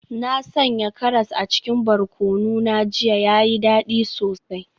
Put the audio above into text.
Na sanya karas a cikin barkono na jiya, ya yi dadi sosai.